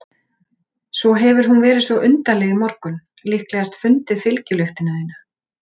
Svo hefur hún verið svo undarleg í morgun, líklegast fundið fylgjulyktina þína.